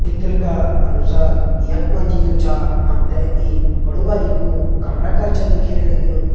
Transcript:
चित्र का अनुसार यख मा जी जु छा हम तें एक बड़ु बारिकु कमरा कर छा दिखेण लग्युं।